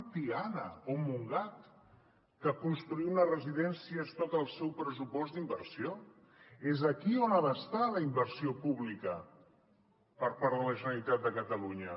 i tiana o montgat que construir una residència és tot el seu pressupost d’inversió és aquí on ha d’estar la inversió pública per part de la generalitat de catalunya